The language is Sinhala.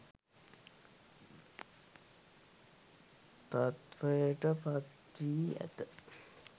තත්ත්වයට පත් වී ඇත